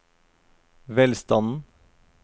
velstanden